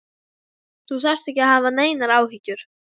Þú þarft ekki að hafa neinar áhyggjur.